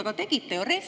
Aga tegite ju!